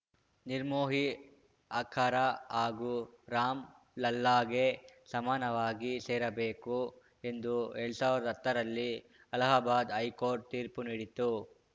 ನಿರ್ಮೋಹಿ ಆಖರ ಹಾಗೂ ರಾಮ್ ಲಲ್ಲಾಗೆ ಸಮಾನವಾಗಿ ಸೇರಬೇಕು ಎಂದು ಎಲ್ಡ್ ಸಾವ್ರ್ದಾ ಹತ್ತ ರಲ್ಲಿ ಅಲಹಾಬಾದ್ ಹೈಕೋರ್ಟ್ ತೀರ್ಪು ನೀಡಿತ್ತು